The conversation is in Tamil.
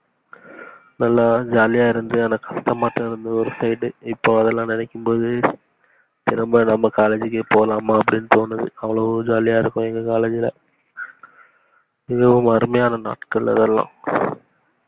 நல்லா jolly ஆ இருந்து இப்ப அதலாம் நினைக்கும் போது திரும்ப நம்ப காலேஜ்கே போலாமா அப்டினு தோணுது அவ்ளோ jolly ஆ இருக்கும் எங்க காலேஜ்ல மிகவும் அருமையான நாட்கள் அதலாம்